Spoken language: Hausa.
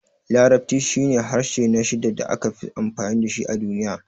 Larabci shine harshe na shida da aka fi amfani da shi a duniya.